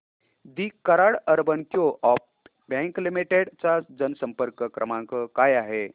दि Karad urban coop bank limited चा जनसंपर्क क्रमांक काय आहे